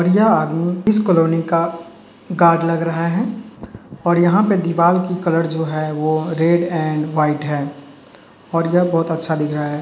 यह आदमी इस कलोनी का गाड लग रहा है और यहाँं पे दीवाल की कलर जो है वो रेड एंड वाइट है और यह बहुत अच्छा दिख रहा है।